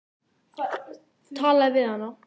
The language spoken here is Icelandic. Talaðu við hana.